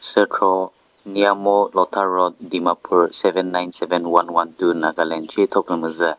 sükhro nyamo lotha road dimapur seven nine seven one one two nagaland shi thopü müzü.